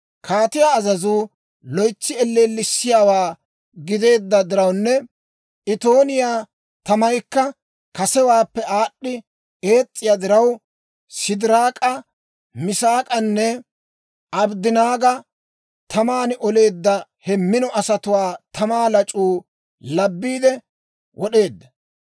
Kaatiyaa azazuu loytsi elleellisiyaawaa gideedda dirawunne itooniyaa tamaykka kasewaappe aad'd'i ees's'iyaa diraw, Sidiraak'a, Misaak'anne, Abddanaaga taman oleedda he mino asatuwaa tamaa lac'uu labiide wod'eedda.